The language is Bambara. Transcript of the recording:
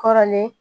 Kɔrɔlen